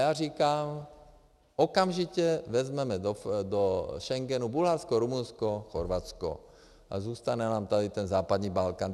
Já říkám, okamžitě vezmeme do Schengenu Bulharsko, Rumunsko, Chorvatsko a zůstane nám tady ten západní Balkán.